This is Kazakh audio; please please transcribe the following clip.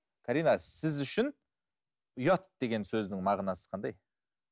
карина сіз үшін ұят деген сөздің мағынасы қандай